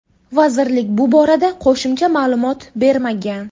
Vazirlik bu borada qo‘shimcha ma’lumot bermagan.